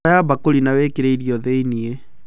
Oya mbakũri na wĩkĩrĩ irio thĩinie.